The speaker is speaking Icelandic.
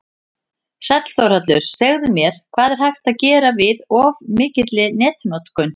Sæll Þórhallur, segðu mér, hvað er hægt að gera við of mikilli netnotkun?